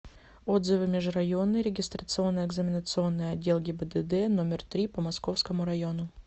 отзывы межрайонный регистрационно экзаменационный отдел гибдд номер три по московскому району